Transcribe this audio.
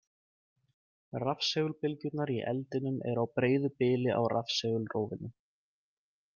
Rafsegulbylgjurnar í eldinum eru á breiðu bili á rafsegulrófinu.